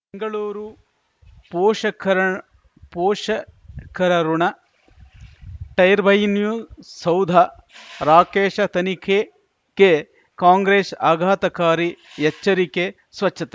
ಗಳೂರು ಪೋಷಕರ ಪೋಷಕರಋಣ ಟೈರ್ಬೈನು ಸೌಧ ರಾಕೇಶ ತನಿಖೆಕೆ ಕಾಂಗ್ರೆಸ್ ಆಘಾತಕಾರಿ ಎಚ್ಚರಿಕೆ ಸ್ವಚ್ಛತೆ